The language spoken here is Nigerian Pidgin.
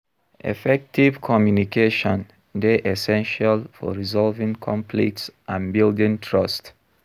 Effective communication dey essential for resolving conflicts and building trust.